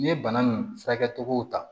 N'i ye bana nin furakɛ cogow ta